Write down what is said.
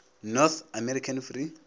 north american free